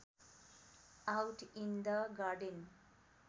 out in the garden